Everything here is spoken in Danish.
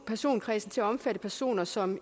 personkredsen til at omfatte personer som